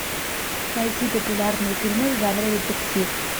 найти популярные фильмы в жанре детектив